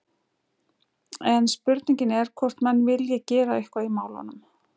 En spurningin er hvort menn vilji gera eitthvað í málunum?